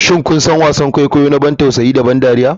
Shin kun san wasan kwaikwayo na ban tausayi da ban dariya?